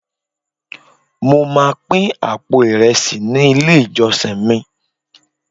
mo ma pin apo iresi ni ile ijọsin mi